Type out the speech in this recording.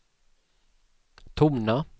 tona